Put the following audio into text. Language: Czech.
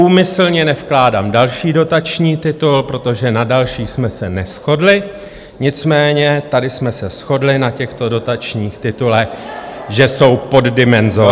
Úmyslně nevkládám další dotační titul, protože na dalších jsme se neshodli, nicméně tady jsme se shodli na těchto dotačních titulech, že jsou poddimenzovány.